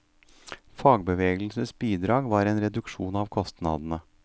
Fagbevegelsens bidrag var en reduksjon av kostnadene.